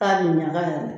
K'a bi ɲaga yɛrɛ